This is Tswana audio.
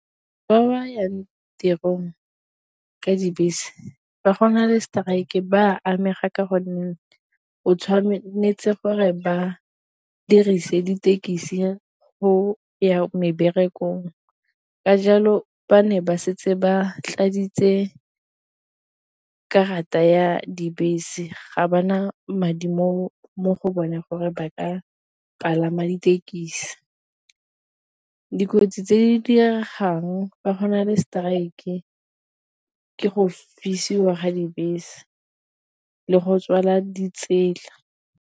Ba ba yang tirong ka dibese ba gona le strike ba amega ka gonne o tshwanetse gore ba dirise dithekisi go ya meberekong, ka jalo ba ne ba setse ba tladitse karata ya dibese ga ba na madi mo go bone gore ba ka palama dithekisi, dikotsi tse di diregang fa gona le strike ke go fisiwa ga dibese le go tswala di tsela.